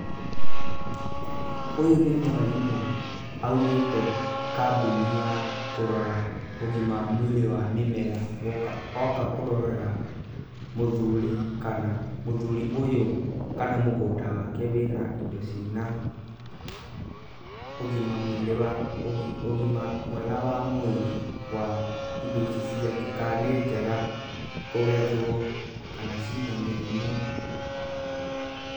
Ũyũ nĩ mwarimũ aumĩte kambuni ya kũrora ũgima mwega wa mwĩrĩ wa mĩmera oka kũrorera mũthuri ũyũ kana mũgũnda wake wĩ na indo ciĩna ũgima mwĩrĩ wa, ũgima mwega wa mwĩrĩ wa indo ici ciake, ka nĩ njega kũgethwo kana cina mĩrimũ.